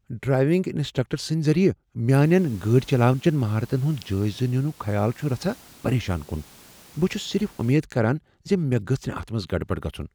Driving instructor سٕند ذریعہ میانین گٲڑۍ چلاونٕچن مہارتن ہنٛد جٲیزٕ ننک خیال چھ رژھاہ پریشان کن۔ بہٕ چھس صرف امید کران ز مےٚ گژھ نہٕ اتھ منٛز گڑبڑ گژھن۔